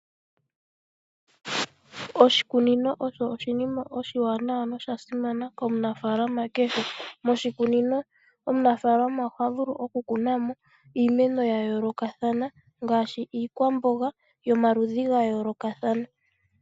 Oshikunino osho oshinima oshiwanawa nosha simana komunafaalama kehe. Moshikunino omunafaalama ohavulu okukuna mo iimeno yayoolokathana ngaashi iikwamboga yomaludhi gayoolokathana.